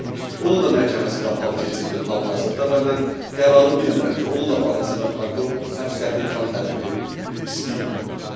Onun da məhkəməsi qapalı keçirilir hal-hazırda və mən qərarı bilmirəm ki, onun da barəsində prokuror həbs qəti imkan tədbiri istəyib.